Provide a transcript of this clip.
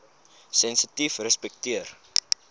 sensitiefrespekteer